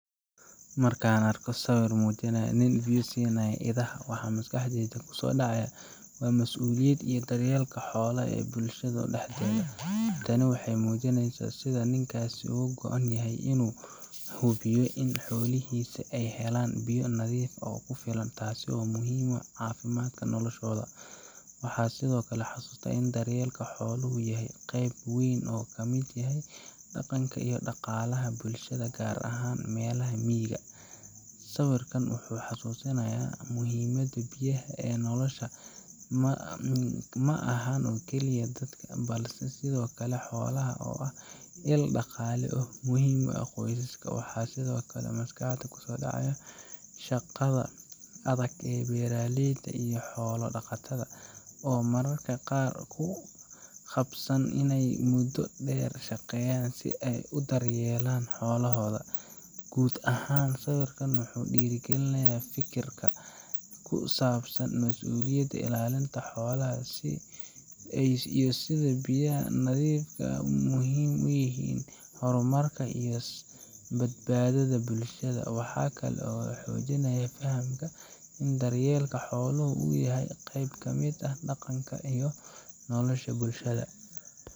Markaan arko sawir muujinaya nin biyo siinaya idaha, waxa maskaxdayda ku soo dhacaya masuuliyadda iyo daryeelka xoolaha ee bulshada dhexdeeda. Tani waxay muujineysaa sida ninkaasi uga go’an yahay inuu hubiyo in xoolihiisa ay helaan biyo nadiif ah oo ku filan, taasoo muhiim u ah caafimaadka iyo noolashooda. Waxaan sidoo kale xasuustaa in daryeelka xooluhu yahay qayb weyn oo ka mid ah dhaqanka iyo dhaqaalaha bulshada, gaar ahaan meelaha miyiga ah. Sawirkan wuxuu xusuusinayaa muhiimadda biyaha ee nolosha, ma aha oo kaliya dadka, balse sidoo kale xoolaha oo ah il dhaqaale oo muhiim u ah qoysaska. Waxaa sidoo kale maskaxda ku soo dhacaya shaqada adag ee beeralayda iyo xoolo-dhaqatada, oo mararka qaar ku khasban inay muddo dheer shaqeeyaan si ay u daryeelaan xoolahooda. Guud ahaan, sawirkan wuxuu dhiirrigelinayaa fikirka ku saabsan masuuliyadda, ilaalinta xoolaha, iyo sida biyaha nadiifka ah ay muhiim ugu yihiin horumarka iyo badbaadada bulshada. Waxa kale oo uu xoojinayaa fahamka ah in daryeelka xooluhu uu yahay qayb ka mid ah dhaqanka iyo nolosha bulshada.